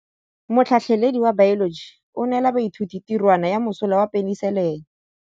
Motlhatlhaledi wa baeloji o neela baithuti tirwana ya mosola wa peniselene.